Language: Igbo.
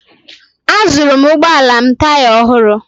Azụụrụ m ụgbọala m taya ọhụrụ.